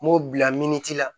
M'o bila miniti la